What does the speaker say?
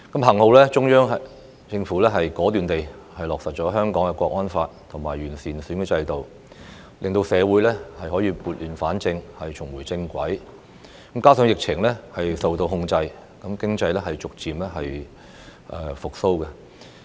幸好，中央政府果斷地落實《香港國安法》及完善選舉制度，令社會可以撥亂反正，重回正軌，加上疫情受到控制，經濟逐漸復蘇。